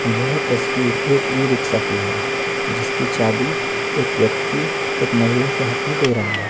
यह तस्वीर एक ई-रिक्शा की है जिसकी चाबी एक व्यक्ति महिला के हाथ में दे रहा है।